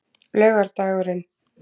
laugardagurinn